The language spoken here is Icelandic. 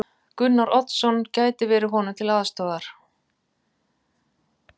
Gunnar Oddsson gæti verið honum til aðstoðar.